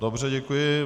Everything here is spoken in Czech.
Dobře, děkuji.